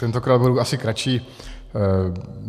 Tentokrát budu asi kratší.